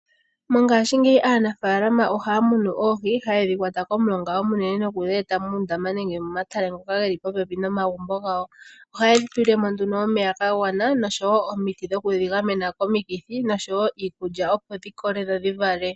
Mongashingeyi aanafalama ohaya munu oohi, haye dhi kwata komulonga omunene nokudhi eta muundama nenge momatale ngoka geli popepi nomagumbo gawo. Ohaye dhi tulile mo nduno omeya ga gwana, noshowo omiti dhoku dhi gamena komikithi noshowo iikulya opo dhi kole dho dhi vale.